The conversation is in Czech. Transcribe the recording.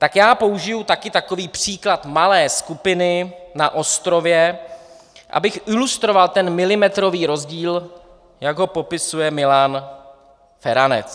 Tak já použiju taky takový příklad malé skupiny na ostrově, abych ilustroval ten milimetrový rozdíl, jak ho popisuje Milan Feranec.